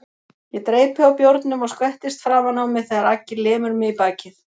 Ég dreypi á bjórnum og skvettist framan á mig þegar Aggi lemur mig í bakið.